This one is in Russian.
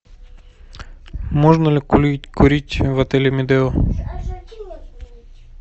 можно ли курить в отеле медео